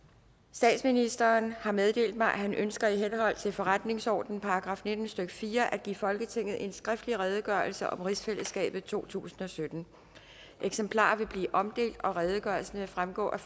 statsministeren har meddelt mig at han ønsker i henhold til forretningsordenens § nitten stykke fire at give folketinget en skriftlig redegørelse om rigsfællesskabet totusinde og syttende eksemplarer vil blive omdelt og redegørelsen vil fremgå af